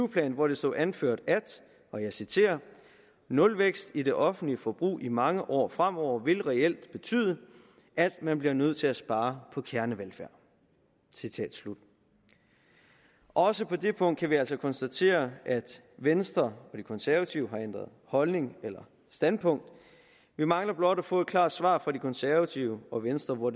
plan hvor der stod anført og jeg citerer nulvækst i det offentlige forbrug i mange år fremover vil reelt betyde at man bliver nødt til at spare på kernevelfærd citat slut også på det punkt kan vi altså konstatere at venstre og de konservative har ændret holdning eller standpunkt vi mangler blot at få et klart svar fra de konservative og venstre på